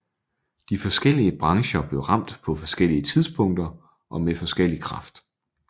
De forskellige brancher blev ramt på forskellige tidspunkter og med forskellig kraft